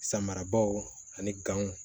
Samarabaw ani ganw